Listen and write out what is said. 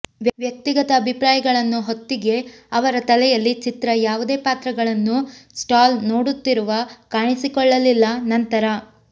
ವ್ಯಕ್ತಿಗತ ಅಭಿಪ್ರಾಯಗಳನ್ನು ಹೊತ್ತಿಗೆ ಅವರ ತಲೆಯಲ್ಲಿ ಚಿತ್ರ ಯಾವುದೇ ಪಾತ್ರಗಳನ್ನು ಸ್ಟಾಲ್ ನೋಡುತ್ತಿರುವ ಕಾಣಿಸಿಕೊಳ್ಳಲಿಲ್ಲ ನಂತರ